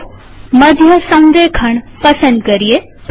ચાલો મધ્ય સંરેખણસેન્ટર અલાઈનમેન્ટ પસંદ કરીએ